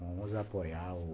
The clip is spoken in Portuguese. Vamos apoiar o...